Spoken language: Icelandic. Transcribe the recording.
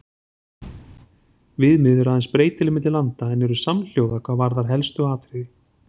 Viðmið eru aðeins breytileg milli landa en eru samhljóða hvað varðar helstu atriði.